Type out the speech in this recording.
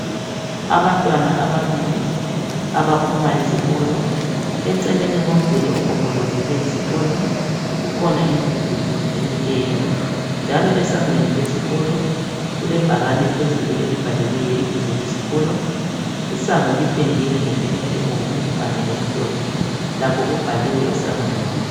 Abantwana ababili abaphuma esikolo eceleni komduli ogombolozele isikolo kukhona imdududu emileyo njalo esangweni lesikolo kulebhakane elibhaliweyo ibizo lesikolo, isango lipendiwe ngependa ebomvu kanye lokumhlophe lakho kubhaliwe esangweni.